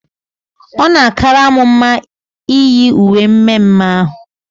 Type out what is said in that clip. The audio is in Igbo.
Ọ na akara m mma iyi uwe mme mme ahụ